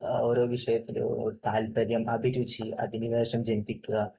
ഓരോ വിഷയത്തിലും താല്പര്യം, അഭിരുചി, അഭിനിവേശം ജനിപ്പിക്കുക